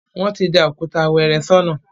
Wọ́n ti da òkúta wẹ́ẹ́rẹ́ sọ́nà